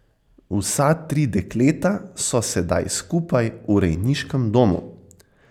Vsa tri dekleta so sedaj skupaj v rejniškem domu.